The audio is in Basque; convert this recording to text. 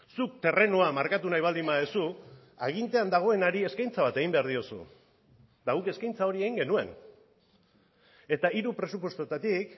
zuk terrenoa markatu nahi baldin baduzu agintean dagoenari eskaintza bat egin behar diozu eta guk eskaintza hori egin genuen eta hiru presupuestoetatik